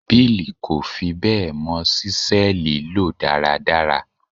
Bill kò fi bẹ́ẹ̀ mọ ṣísẹ́ẹ̀lì lò dáradára.